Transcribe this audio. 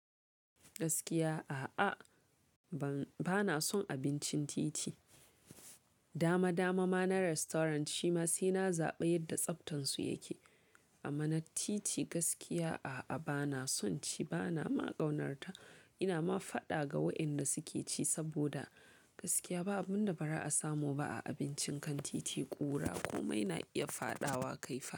Gaskiya a'a, bana son abincin titi. Dama dama ma na restaurant shima sai na zaba yadda tsaftansu yake. Amma na titi gaskiya a'a bana son ci bana ma ƙaunarta. Ina ma faɗa ga wa'yanda suke ci saboda gaskiya babu abunda bara a samu ba a abincin kan titi. Ƙura komai na iya faɗawa kai fa.